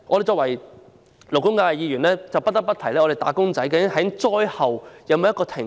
作為勞工界的代表，我們不得不問政府可否立法，以保障"打工仔"災後停工？